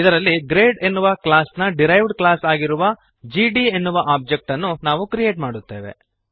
ಇದರಲ್ಲಿ ಗ್ರೇಡ್ ಎನ್ನುವ ಕ್ಲಾಸ್ನ ಡಿರೈವ್ಡ್ ಕ್ಲಾಸ್ ಆಗಿರುವ ಜಿಡಿ ಎನ್ನುವ ಒಬ್ಜೆಕ್ಟ್ ನ್ನು ನಾವು ಕ್ರಿಯೇಟ್ ಮಾಡುತ್ತೇವೆ